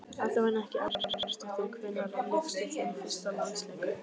Allavega ekki Edda Garðarsdóttir Hvenær lékstu þinn fyrsta landsleik?